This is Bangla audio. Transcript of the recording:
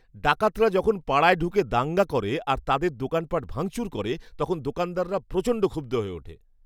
ডাকাতরা যখন পাড়ায় ঢুকে দাঙ্গা করে আর তাদের দোকানপাট ভাঙচুর করে তখন দোকানদাররা প্রচণ্ড ক্ষুব্ধ হয়ে ওঠে।